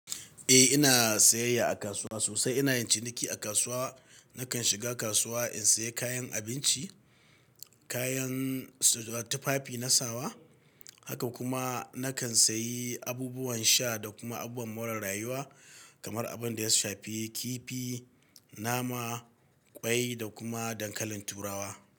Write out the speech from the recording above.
Eh ina sayayya a kasuwa sosai. Ina yin ciniki a kasuwa. Nakan shiga kasuwa in sayi kayan abinci, kayan tufafi na sawa, haka kuma nakan sayi abubuwan sha da kuma abubuwan more rayuwa kamar abin da ya shafi kifi, nama, ƙwai da kuma dankalin turawa.